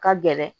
Ka gɛlɛn